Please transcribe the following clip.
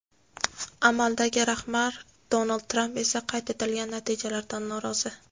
Amaldagi rahbar Donald Tramp esa qayd etilgan natijalardan norozi.